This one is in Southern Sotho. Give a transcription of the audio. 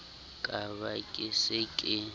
ka ba ke re ke